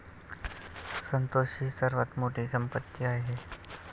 संतोष ही सर्वात मोठी संपत्ती आहे,